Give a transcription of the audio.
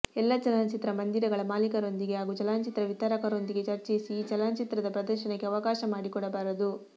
ಎಲ್ಲ ಚಲನಚಿತ್ರ ಮಂದಿರಗಳ ಮಾಲೀಕರೊಂದಿಗೆ ಹಾಗೂ ಚಲನಚಿತ್ರ ವಿತರಕರೊಂದಿಗೆ ಚರ್ಚಿಸಿ ಈ ಚಲನಚಿತ್ರದ ಪ್ರದರ್ಶನಕ್ಕೆ ಅವಕಾಶ ಮಾಡಿಕೊಡಬಾರದು